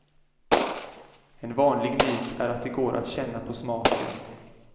En vanlig myt är att det går att känna på smaken.